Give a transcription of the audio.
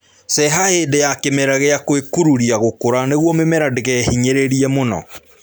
Ceha hĩndĩ ya kĩmera gia gwĩkururia gũkũra nĩguo mĩmera ndĩkehinyĩrĩrie mũno